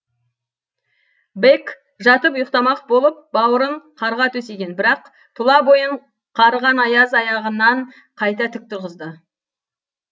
бэк жатып ұйықтамақ болып бауырын қарға төсеген бірақ тұла бойын қарыған аяз аяғынан қайта тік тұрғызды